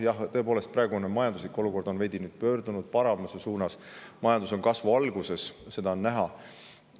Jah, tõepoolest, praegu on majanduslik olukord pöördunud veidi paremuse poole, majandus on kasvu alguses, seda on näha.